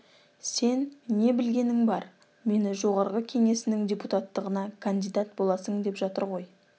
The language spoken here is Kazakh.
сен не білгенің бар мені жоғарғы кеңесінің депутаттығына кандидат боласың деп жатыр ғой